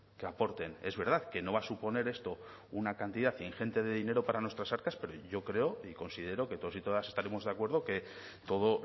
que aporten es verdad que no va a suponer esto una cantidad ingente de dinero para nuestras arcas pero yo creo y considero que todos y todas estaremos de acuerdo que todo